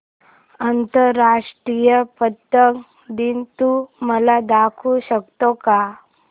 आंतरराष्ट्रीय पतंग दिन तू मला दाखवू शकतो का